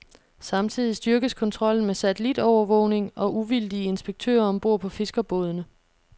Samtidig styrkes kontrollen med satellitovervågning og uvildige inspektører om bord på fiskerbådene.